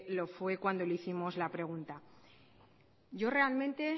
lo fue cuando le hicimos la pregunta yo realmente